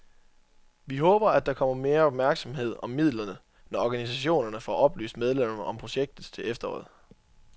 Vi håber, at der kommer mere opmærksomhed om midlerne, når organisationerne får oplyst medlemmerne om projektet til efteråret.